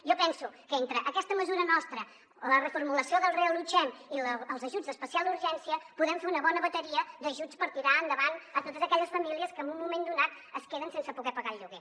jo penso que entre aquesta mesura nostra la reformulació del reallotgem i els ajuts d’especial urgència podem fer una bona bateria d’ajuts per tirar endavant per a totes aquelles famílies que en un moment donat es queden sense poder pagar el lloguer